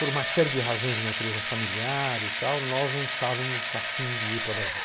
Por uma série de razões de natureza familiar e tal, nós não estávamos afim de ir para Brasília.